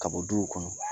Ka bɔ du kɔnɔ